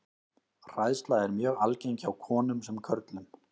Hræðsla er mjög algeng hjá konum sem körlum.